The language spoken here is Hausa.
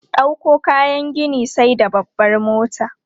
Ɗauko kayan gini sai da babbar mota.